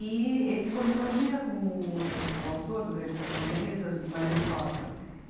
E ele se correspondia com o autor do Grande Sertão Veredas, o Guimarães Rosa. e